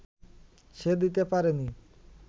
সে দিতে পারেনি